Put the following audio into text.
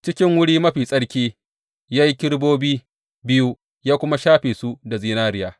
Cikin Wuri Mafi Tsarki ya yi kerubobi biyu, ya kuma shafe su da zinariya.